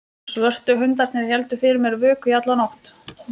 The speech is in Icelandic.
Svörtu hundarnir héldu fyrir mér vöku í alla nótt.